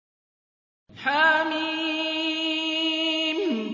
حم